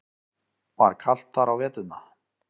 Var kalt þar á veturna?